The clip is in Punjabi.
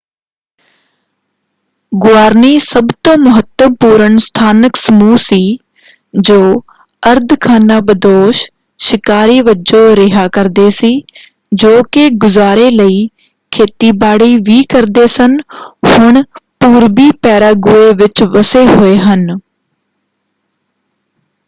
ਗੁਆਰਨੀ ਸਭ ਤੋਂ ਮਹੱਤਵਪੂਰਣ ਸਥਾਨਕ ਸਮੂਹ ਸੀ ਜੋ ਅਰਧ-ਖਾਨਾਬਦੋਸ਼ ਸ਼ਿਕਾਰੀ ਵਜੋਂ ਰਿਹਾ ਕਰਦੇ ਸੀ ਜੋ ਕਿ ਗੁਜ਼ਾਰੇ ਲਈ ਖੇਤੀਬਾੜੀ ਵੀ ਕਰਦੇ ਸਨ ਹੁਣ ਪੂਰਬੀ ਪੈਰਾਗੁਏ ਵਿੱਚ ਵੱਸੇ ਹੋਏ ਹਨ।